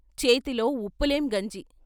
చేతిలో ఉప్పులేని గంజి.